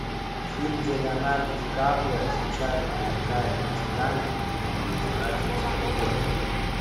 фильм где леонардо ди каприо случайно проникает на титаник и разворачивается любовь